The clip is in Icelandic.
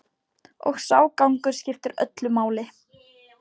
Og sá gangur skiptir öllu máli.